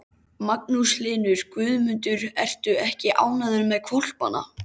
Magnús Hlynur: Guðmundur, ertu ekki ánægður með hvolpana?